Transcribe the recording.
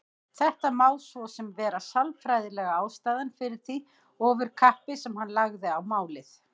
Þetta má svo sem vera sálfræðilega ástæðan fyrir því ofurkappi sem hann lagði á málið.